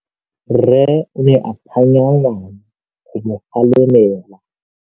Rre o ne a phanya ngwana go mo galemela.